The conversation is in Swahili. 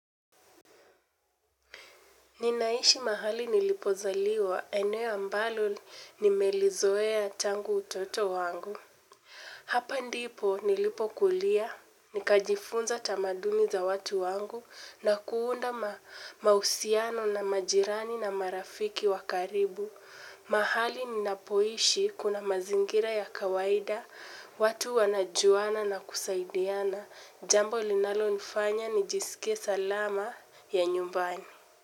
Ninaishi mahali nilipozaliwa ene ambalo nimelizoea tangu utoto wangu. Hapa ndipo nilipo kulia, nikajifunza tamaduni za watu wangu na kuunda mahusiano na majirani na marafiki wakaribu. Mahali ninapoishi kuna mazingira ya kawaida, watu wanajuana na kusaidiana. Jambo linalo nifanya nijisikie salama ya nyumbani.